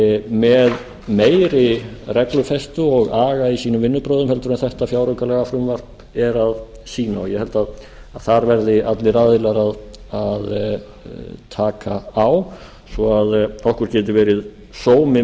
með meiri reglufestu og aga í sínu vinnubrögðum heldur en þetta fjáraukalagafrumvarp er að sýna og ég held að þar verði allir aðilar að taka á svo að okkur geti verið meiri